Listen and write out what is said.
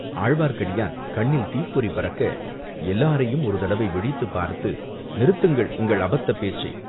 ஆழ்வார்க்கடியான் கண்ணில் தீப்பொறி பறக்க எல்லாரையும் ஒரு தடவை விழித்துப் பார்த்து, "நிறுத்துங்கள் உங்கள் அபத்தப் பேச்சை!